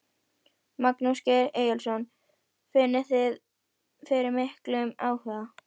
Magnús Geir Eyjólfsson: Finnið þið fyrir miklum áhuga?